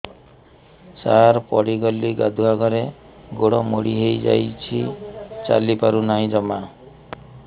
ସାର ପଡ଼ିଗଲି ଗାଧୁଆଘରେ ଗୋଡ ମୋଡି ହେଇଯାଇଛି ଚାଲିପାରୁ ନାହିଁ ଜମା